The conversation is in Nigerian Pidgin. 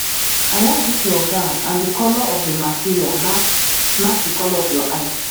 i like dis your gown and the colour of the material match match the colour of your eyes